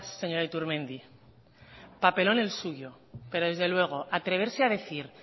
señora iturmendi papelón el suyo pero desde luego atreverse a decir